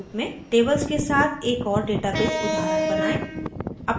tables के साथ एक और डेटाबेस उदाहरण बनाएँ